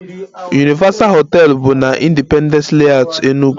Universal hotel bụ na Independence Layout, Enug